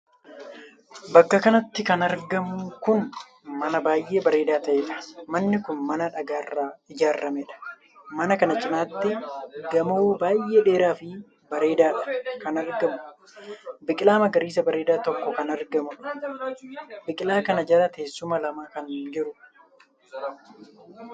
Bakka kanatti kan argamu kun mana baay'ee bareedaa taheedha. Manni kun mana dhagaarraa ijaarameedha. Mana kana cinatti gamoo baay'ee dheeraafi bareedaadha kan argamu. biqilaa magariisa bareedaa tokko kan argamu. Biqilaa kana jala teessuma lama kan jiru.